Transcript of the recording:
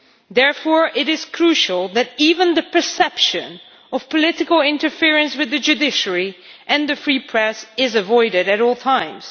Therefore it is crucial that even the perception of political interference with the judiciary and a free press is avoided at all times.